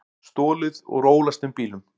Stolið úr ólæstum bílum